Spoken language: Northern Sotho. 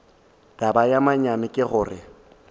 taba ya manyami ke gore